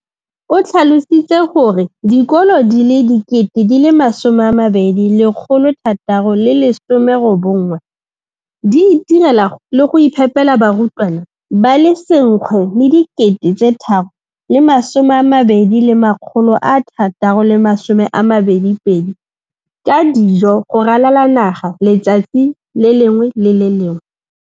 O tlhalositse gore dikolo di le 20 619 di itirela le go iphepela barutwana ba le 9 032 622 ka dijo go ralala naga letsatsi le lengwe le le lengwe.